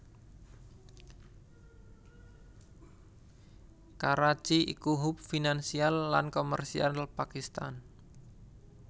Karachi ikuhub finansial lan komersial Pakistan